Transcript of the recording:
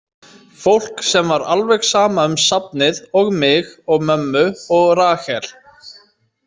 Fólk sem var alveg sama um safnið og mig og mömmu og Rahel.